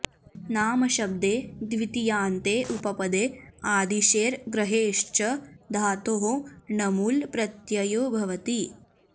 नामशब्दे द्वितीयान्ते उपपदे आदिशेर् ग्रहेश्च धातोः णमुल् प्रत्ययो भवति